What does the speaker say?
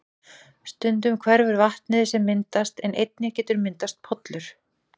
Stundum hverfur vatnið sem myndast en einnig getur myndast pollur.